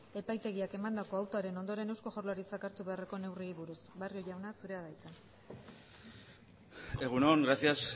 epaitegiak emandako autoaren ondoren eusko jaurlaritzak hartu beharreko neurriei buruz barrio jauna zurea da hitza egun on gracias